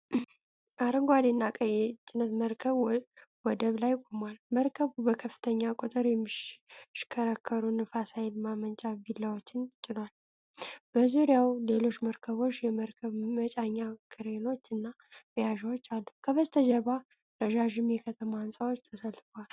አረንጓዴ እና ቀይ የጭነት መርከብ ወደብ ላይ ቆሟል። መርከቡ በከፍተኛ ቁጥር የሚሽከረከሩ ነፋስ ኃይል ማመንጫ ቢላዎችን ጭኗል። በዙሪያው ሌሎች መርከቦች፣ የመርከብ መጫኛ ክሬኖች እና መያዣዎች አሉ። ከበስተጀርባ ረዣዥም የከተማ ሕንፃዎች ተሰልፈዋል።